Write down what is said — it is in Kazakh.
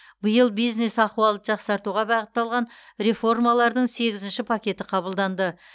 биыл бизнес ахуалды жақсартуға бағытталған реформалардың сегізінші пакеті қабылданды